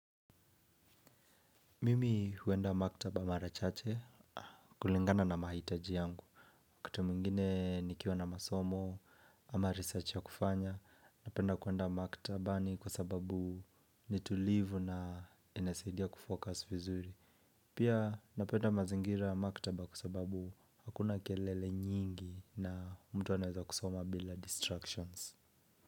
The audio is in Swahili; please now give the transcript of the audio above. Mimi huenda maktaba mara chache, kulingana na mahitaji yangu wakati mwingine nikiwa na masomo, ama research ya kufanya. Napenda kwenda maktabani kwa sababu ni tulivu na inasaidia kufocus vizuri. Pia napenda mazingira ya maktaba kwa sababu hakuna kelele nyingi na mtu anaeza kusoma bila distractions.